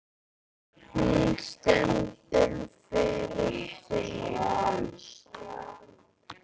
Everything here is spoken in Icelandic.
Hún stendur alveg fyrir sínu.